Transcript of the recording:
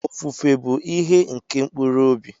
Ofufe bu ihe nke mkpụrụ obi.